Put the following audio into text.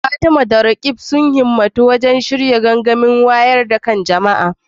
Fatima da Roqeeb sun himmatu wajen shirya gangamin wayar da kan jama’a